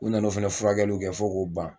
U nana o fɛnɛ furakɛliw kɛ fɔ k'o ban.